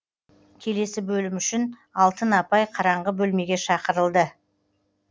келесі бөлім үшін алтын апай қараңғы бөлмеге шақырылды